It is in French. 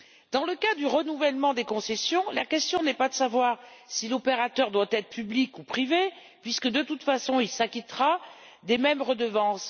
Dans le cas du renouvellement des concessions, la question n'est pas de savoir si l'opérateur doit être public ou privé, puisque, de toute façon, il s'acquittera des mêmes redevances.